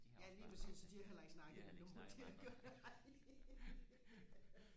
de har også bare de har heller ikke snakket med andre